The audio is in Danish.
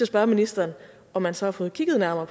spørge ministeren om man så har fået kigget nærmere